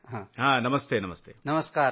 रामगम्पा तेजाः नमस्ते नमस्ते